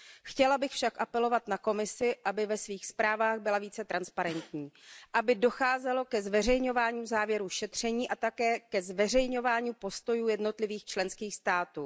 Chtěla bych však apelovat na Komisi, aby ve svých zprávách byla více transparentní, aby docházelo ke zveřejňování závěrů šetření a také ke zveřejňování postojů jednotlivých členských států.